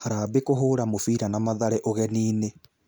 Harambĩ kũhũra mũbira na Mathare ũgeninĩ.